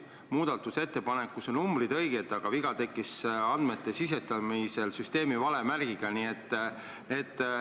Muudatusettepanekus on õiged numbrid, aga viga tekkis seetõttu, et andmed sisestati süsteemi vale märgiga.